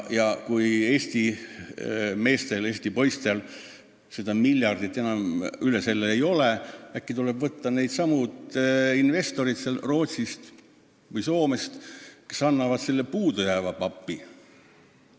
Ja kui Eesti meestel, Eesti poistel seda miljardist suuremat summat ei ole, siis äkki tuleb kampa võtta investoreid Rootsist või Soomest, kes annavad selle puudujääva papi.